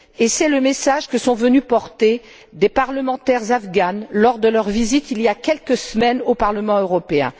C'est le message que sont venues porter des parlementaires afghanes lors de leur visite il y a quelques semaines au Parlement européen.